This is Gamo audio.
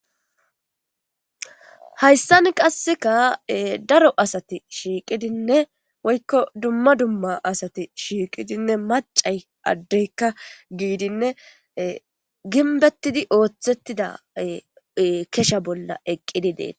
hayssan qasseka daro asati shiiqidinne woykko dumma dumma asati shiiqidinne macay addeykka giidinne ginbettidi ooththettida kesha bolla eqqidi deet